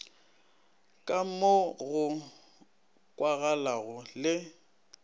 ka mo go kwagalago le